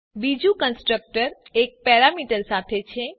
બીજું કન્સ્ટ્રક્ટર એક પેરામીટર સાથે છે